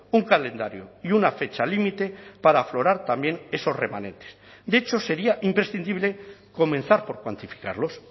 un calendario y una fecha límite para aflorar también esos remanentes de hecho sería imprescindible comenzar por cuantificarlos